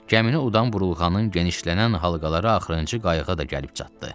Gəmini udan vurulğanın genişlənən halqaları axırıncı qayığı da gəlib çatdı.